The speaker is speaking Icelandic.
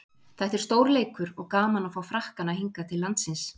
Þetta er stór leikur og gaman að fá Frakkana hingað til landsins.